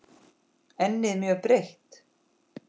Ennið mjög breitt.